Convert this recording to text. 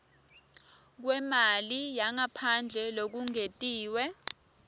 kwemali yangaphandle lokungetiwe